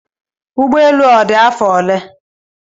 Ụgbọelu a odi afọ ole?